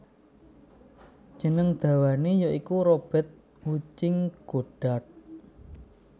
Jeneng dawane ya iku Robert Hutching Goddart